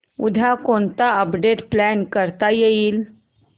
उद्या कोणतं update plan करता येईल